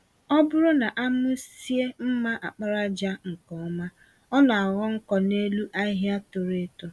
Ọbụrụ na amụzie mma àkpàràjà nke ọma, ọ naghọ nkọ n'elu ahịhịa toro-eto